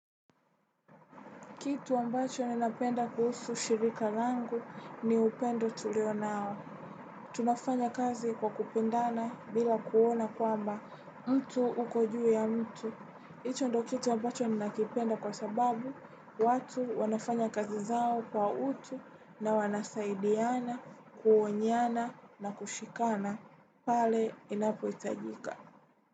Kitu ambacho ninapenda kuhusu shirika langu ni upendo tulio nao. Tunafanya kazi kwa kupendana bila kuona kwamba mtu uko juu ya mtu. Icho ndio kitu ambacho ninakipenda kwa sababu watu wanafanya kazi zao kwa utu na wanasaidiana kuonyiana na kushikana pale inapohitajika.